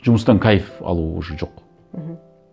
жұмыстан кайф алу уже жоқ мхм